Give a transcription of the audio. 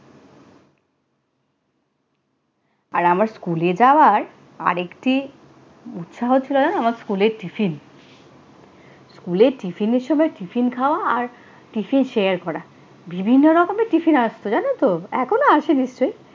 আর আমার স্কুলে যাওয়ার আর একটি উৎসাহ ছিল জানো, আমার স্কুলের টিফিন। স্কুলের টিফিনের সময় টিফিন খাওয়া আর টিফিন share করা। বিভিন্ন রকমের টিফিন আসতো জানো তো! এখনো আসে নিশ্চয়ই।